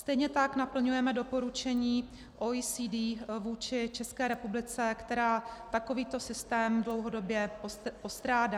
Stejně tak naplňujeme doporučení OECD vůči Česká republice, která takovýto systém dlouhodobě postrádá.